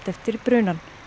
eftir brunann